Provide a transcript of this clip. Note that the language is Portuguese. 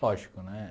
Lógico, né?